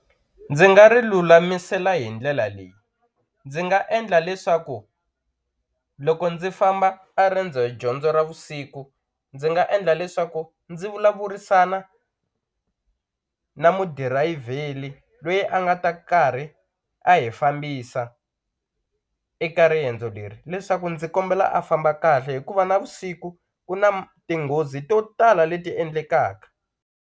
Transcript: Ndzi nga ri lulamisela hi ndlela leyi, ndzi nga endla leswaku loko ndzi famba a riendzo dyondzo ra vusiku ndzi nga endla leswaku ndzi vulavurisana na mudirayivheli loyi a nga ta karhi a hi fambisa eka riendzo leri leswaku ndzi kombela a famba kahle hikuva navusiku ku tinghozi to tala leti endlekaka.